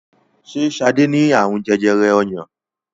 ṣe Sade ní arun jẹjẹrẹ ọyàn?